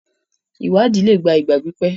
ìwádìí lé gbà ìgbà pípé